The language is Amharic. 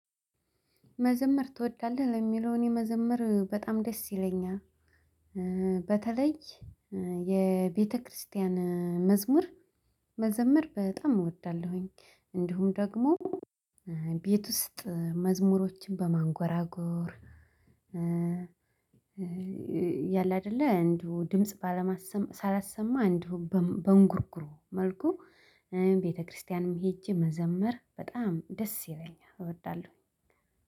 መዘመር ትወዳለህ ለሚለው እኔ መዘመር በጣም ደስ ይለኛል። በተለይ የቤተክርስቲያን መዝሙር መዘምር በጣም እወዳለሁኝ። እንዲሁም ደግሞ ቤት ውስጥ መዝሙሮችን በማንጎራጎር። ያለ አይደለ አንዱ ድምጽ ባለማሰማ ሳላሰማ አንዱ በእንጉርጉሮ መልኩ ቤተክርስቲያንም ሄጄ መዘመር በጣም ደስ ይለኛል እወዳለሁኝ።